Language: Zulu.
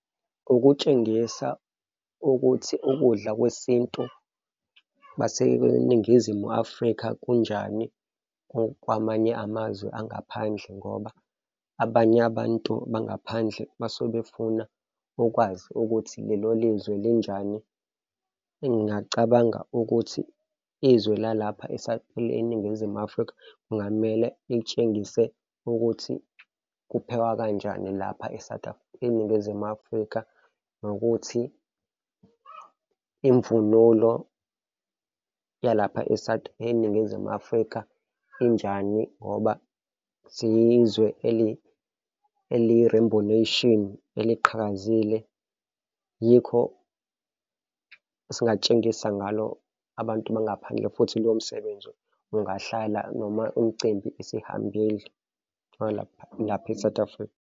Ukutshengisa ukuthi ukudla kwesintu baseNingizimu Afrika kunjani kwamanye amazwe angaphandle ngoba abanye abantu bangaphandle basuke befuna ukwazi ukuthi lelo lizwe linjani. Ngingacabanga ukuthi izwe lalapha eNingizimu Afrika kungamele litshengise ukuthi kuphekwa kanjani lapha e-South eNgizimu Afrika nokuthi imvunulo yalapha e-South, eNingizimu Afrika injani ngoba siyizwe eliyi-rainbow nation eliqhakazile, yikho singatshengise ngalo abantu bangaphandle futhi lowo msebenzi ungahlala noma umcimbi esihambile lalapha e-South Africa.